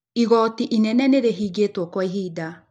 Igooti inene nĩ rĩhingĩtũo kwa ihinda.